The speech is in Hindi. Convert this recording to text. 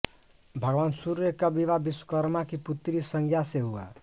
भगवान सूर्य का विवाह विश्वकर्मा की पुत्री संज्ञा से हुआ